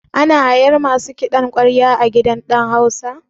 Ana hayan masu kiɗan ƙwarya a gidan ɗan hausa?